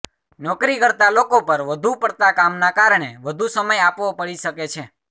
નોકરી કરતા લોકો પર વધુ પડતા કામના કારણે વધુ સમય આપવો પડી શકે છે